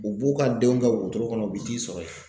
U b'u ka denw kɛ wotoro kɔnɔ u bɛ t'i sɔrɔ yen.